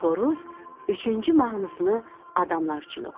Xoruz üçüncü mahnısını adamlar üçün oxuyur.